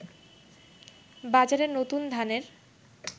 বাজারে নতুন ধানের